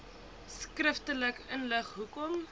skriftelik inlig hoekom